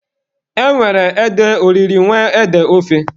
E nwere ede oriri nwekwaa ede ofe.